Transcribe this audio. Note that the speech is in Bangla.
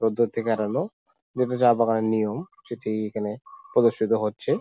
পদ্ধতি কাটালো এটা চা বাগানের নিয়ম সেটি এখানে প্রদর্শিত হচ্ছে ।